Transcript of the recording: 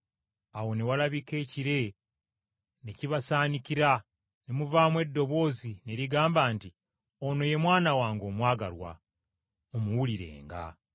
Awo ne walabika ekire, ne kibasaanikira ne muvaamu eddoboozi ne ligamba nti, “Ono ye Mwana wange omwagalwa. Mumuwulirirenga.”